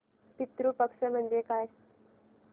पितृ पक्ष म्हणजे काय